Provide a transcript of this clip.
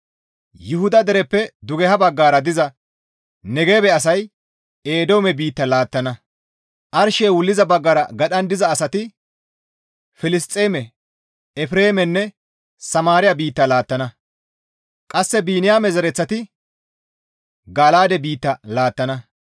«Yuhuda dereppe dugeha baggara diza Negebe asay Eedoome biitta laattana; arshey wulliza baggara gadhan diza asati Filisxeeme, Efreemenne Samaariya biitta laattana; qasse Biniyaame zereththati Gala7aade biitta laattana.